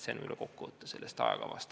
Selline on kokkuvõte sellest ajakavast.